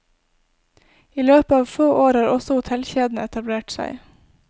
I løpet av få år har også hotellkjedene etablert seg.